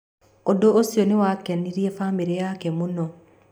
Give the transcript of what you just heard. Ũndũ ũcio nĩ wakenirie bamĩrĩ yake mũno.